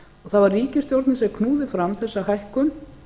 það var ríkisstjórn sem knúði fram þessa hækkun